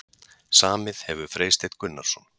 Samið hefur Freysteinn Gunnarsson.